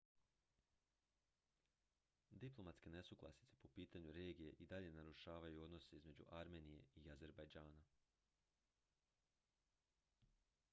diplomatske nesuglasice po pitanju regije i dalje narušavaju odnose između armenije i azerbejdžana